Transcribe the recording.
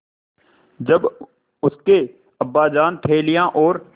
जब उसके अब्बाजान थैलियाँ और